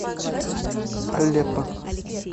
алеппо